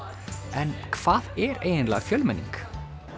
en hvað er eiginlega fjölmenning